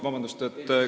Vabandust!